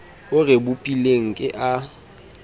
o re bopileng ke a